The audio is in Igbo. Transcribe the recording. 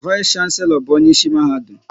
Vais shanselo bụ onyeisi Mahadum